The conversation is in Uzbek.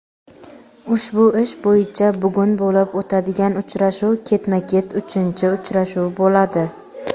Ushbu ish bo‘yicha bugun bo‘lib o‘tadigan uchrashuv ketma-ket uchinchi uchrashuv bo‘ladi.